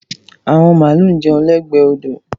Àwọn màlúù ń jẹun lẹ́gbẹ̀ẹ́ odò.